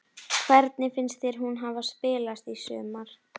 Hvernig finnst þér hún hafa spilast í sumar?